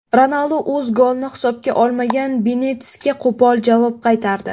Ronaldu o‘z golini hisobga olmagan Benitesga qo‘pol javob qaytardi.